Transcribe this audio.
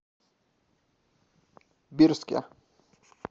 бирске